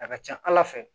A ka ca ala fɛ